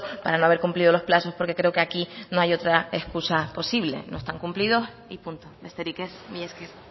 para no haber cumplido los plazos porque creo que aquí no hay otra escusa posible no están cumplidos y punto besterik ez mila esker